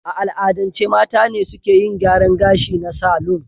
A al'adance mata ne suke yin gyaran ga shi na salon.